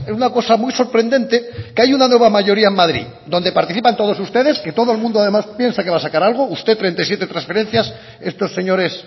una cosa muy sorprendente que hay una nueva mayoría en madrid donde participan todos ustedes que todo el mundo además piensa que va a sacar algo usted treinta y siete transferencias estos señores